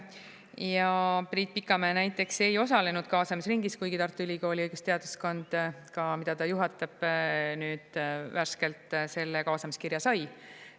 Ja Priit Pikamäe näiteks ei osalenud kaasamisringis, kuigi Tartu Ülikooli õigusteaduskond, mida ta juhatab, nüüd värskelt selle kaasamiskirja sai.